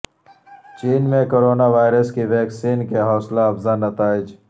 چین میں corona virus کی vaccine کے حوصلہ افزا نتائج